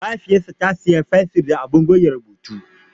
Mahaifiyarta ta siya mata fensir da abin goge rubutu.